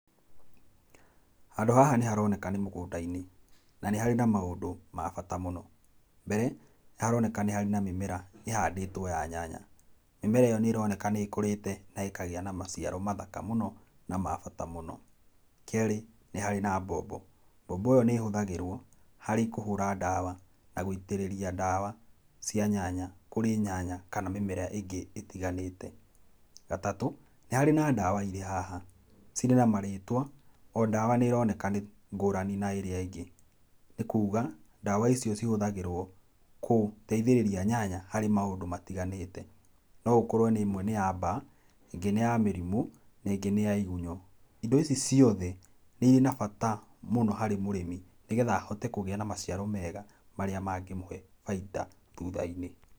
Handũ haha nĩ haroneka nĩ mũgũnda-inĩ na nĩ harĩ na maũndũ ma bata mũno. Mbere nĩharoneka nĩharĩ na mĩmera ĩhandĩtwo ya nyanya. Mĩmera ĩyo nĩĩroneka nĩkũrĩte na ĩkagĩa na maciaro mathaka mũno na ma bata mũno. Kerĩ nĩharĩ na mbombo, mbombo ĩyo nĩĩhũthagirwo harĩ kũhũra ndawa na gũitĩrĩria dawa cia nyanya kũrĩ nyanya kana mĩmera ĩngĩ ĩtiganĩte. Gatatũ, nĩ harĩ na ndawa haha ciri na marĩtwa o dawa nĩĩroneka nĩ ngũrani na ĩrĩa ĩngĩ, nĩ kuuga ndawa icio cihũthagĩrwo gũteithĩrĩria nyanya harĩ maũndũ matiganĩte. No gũkorwo nĩ ĩmwe nĩ ya mbaa, ĩngĩ nĩ ya mĩrimũ na ĩngĩ nĩ ya igunyũ. Ĩndo ici ciothe nĩiri na bata mũno harĩ mũrĩmi nĩgetha ahote kũgĩa ma maciaro mega marĩa mangĩmũhe bainda thũtha-inĩ.